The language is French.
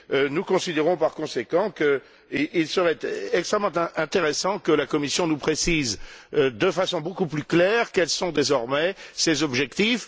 Nous considérons, par conséquent, qu'il serait extrêmement intéressant que la Commission nous précise, de façon beaucoup plus claire, quels sont désormais ses objectifs.